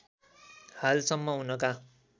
हाल सम्म उनका